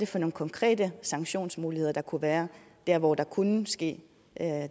for nogle konkrete sanktionsmuligheder der kunne være dér hvor der kunne ske